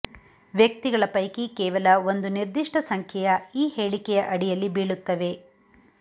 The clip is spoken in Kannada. ವ್ಯಕ್ತಿಗಳ ಪೈಕಿ ಕೇವಲ ಒಂದು ನಿರ್ದಿಷ್ಟ ಸಂಖ್ಯೆಯ ಈ ಹೇಳಿಕೆಯ ಅಡಿಯಲ್ಲಿ ಬೀಳುತ್ತವೆ